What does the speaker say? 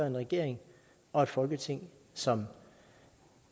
en regering og et folketing som